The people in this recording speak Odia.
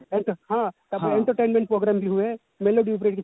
ହଁ ତାପରେ entertainment program ବି ହୁଏ melody ଉପରେ କିଛି ହୁଏ